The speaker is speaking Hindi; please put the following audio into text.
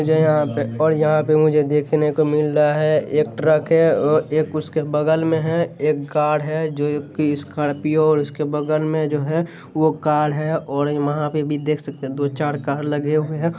ये जो हैं यहां पे और यहां पे मुझे देखने को मिल रहा है एक ट्रक है और एक उसके बगल में है एक गार्ड है जो कि स्कार्पियो और उसके बगल में जो है वो कार है और वहाँ पे भी देख सकते दो-चार कार लगे हुए है।